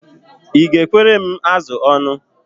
Ị ekwere m azụ ọnụ?